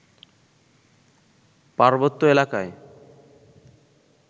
পার্বত্য এলাকায়